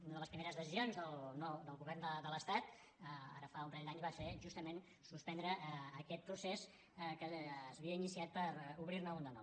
una de les primeres decisions del govern de l’estat ara fa un parell d’anys va ser justament suspendre aquest procés que s’havia iniciat per obrir ne un de nou